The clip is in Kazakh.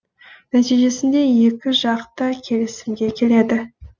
нәтижесінде екі жақ та келісімге келеді